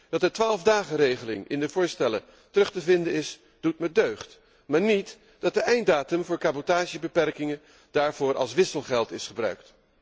Dat de 12 dagenregeling in de voorstellen terug te vinden is, doet mij deugd maar niet dat de einddatum voor cabotagebeperkingen daarvoor als wisselgeld is gebruikt.